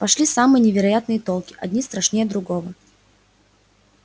пошли самые невероятные толки один страшнее другого